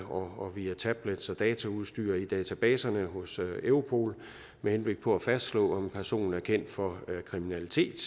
og via tablets og dataudstyr i databaserne hos europol med henblik på at fastslå om en person er kendt for kriminalitet